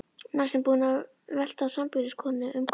Næstum búinn að velta sambýliskonunni um koll.